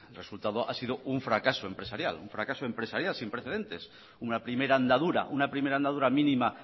resultado ha sido un fracaso empresarial un fracaso empresarial sin precedentes una primera andadura una primera andadura mínima